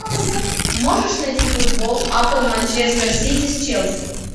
можешь найти футбол апл манчестер сити с челси